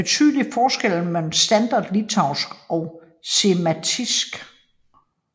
Der er betydelige forskelle mellem standard litauiske og Žemaitisk